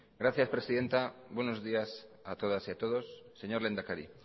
gracias presidenta buenos días a todas y a todos señor lehendakari